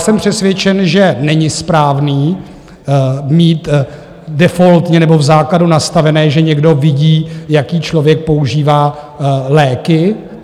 Jsem přesvědčen, že není správné mít defaultně nebo v základu nastavené, že někdo vidí, jaké člověk používá léky.